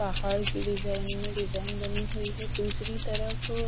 पहाड़ की डिजाइन में डिजाइन बनी हुई है दूसरी तरफ--